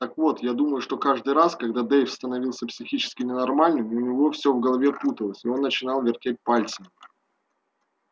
так вот я думаю что каждый раз когда дейв становился психически ненормальным у него всё в голове путалось и он начинал вертеть пальцами